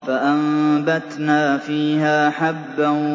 فَأَنبَتْنَا فِيهَا حَبًّا